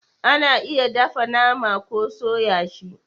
A na iya dafa nama ko soya shi